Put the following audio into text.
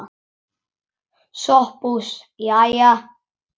SOPHUS: Jæja!